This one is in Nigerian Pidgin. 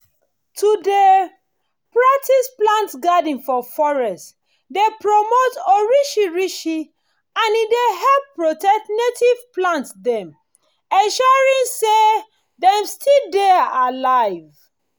to dey practise to plant garden for forest dey promote orishirishi and e dey help protect native plants dem ensuring say dem still dey alive